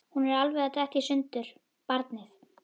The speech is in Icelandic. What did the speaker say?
Hún er alveg að detta í sundur, barnið.